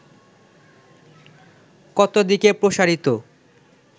কত দিকে প্রসারিত